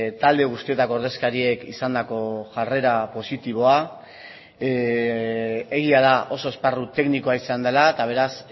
talde guztietako ordezkariek izandako jarrera positiboa egia da oso esparru teknikoa izan dela eta beraz